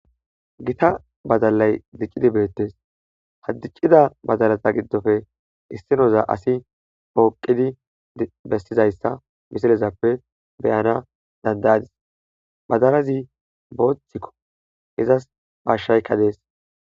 gita badalay diccidi beettes, hada dicida badalata giddole issinoza asi pooqidi bestizayssa bisilezappe beyana dandayadis bazarazi booththikko izas pashshaykka dees